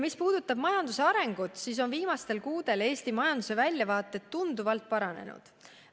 Mis puudutab majanduse arengut, siis tuleb öelda, et viimastel kuudel on Eesti majanduse väljavaated tunduvalt paranenud.